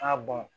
A